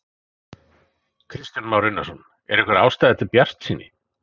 Kristján Már Unnarsson: Er einhver ástæða til bjartsýni?